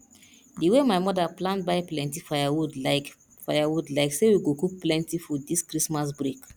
di wey my mother plan buy plenty firewood like firewood like say we go cook plenty food this christmas break